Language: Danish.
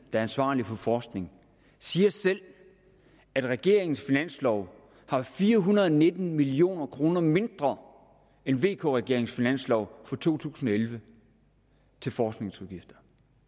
er ansvarlig for forskning siger selv at regeringens finanslov har fire hundrede og nitten million kroner mindre end vk regeringens finanslov for to tusind og elleve til forskningsudgifter